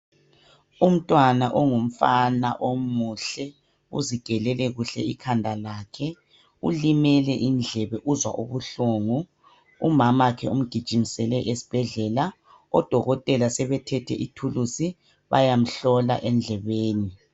Umntwana ongumfana omuhle uzigelele kuhle ikhanda lakhe ulimele indlebe uzwa ubuhlungu umamakhe umgijimisele esibhedlela odokotela sebethethe ithulusi bayamhlola endlebeni.